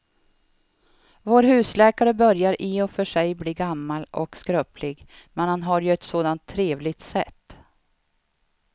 Vår husläkare börjar i och för sig bli gammal och skröplig, men han har ju ett sådant trevligt sätt!